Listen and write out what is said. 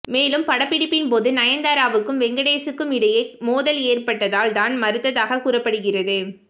மேலும் இப்படப்பிடிப்பின் போது நயன்தாராவுக்கும் வெங்கடேசுக்கும் இடையே மோதல் ஏற்பட்டதால் தான் மறுத்ததாக கூறப்படுகிறது